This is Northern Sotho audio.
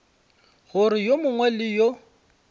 gore yo mongwe le yo